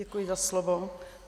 Děkuji za slovo.